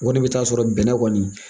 O kɔni bɛ taa sɔrɔ bɛnɛ kɔni